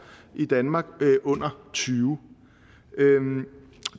i danmark under tyvende